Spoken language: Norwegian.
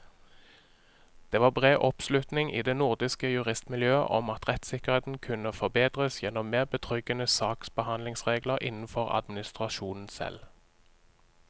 Det var bred oppslutning i det nordiske juristmiljøet om at rettssikkerheten kunne forbedres gjennom mer betryggende saksbehandlingsregler innenfor administrasjonen selv.